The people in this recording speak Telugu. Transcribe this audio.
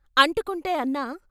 అంటుకుంటె " అన్నా!